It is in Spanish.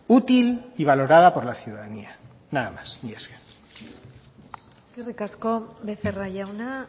útil y valorada por la ciudadanía nada más mila esker eskerrik asko becerra jauna